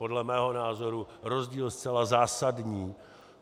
Podle mého názoru rozdíl zcela zásadní.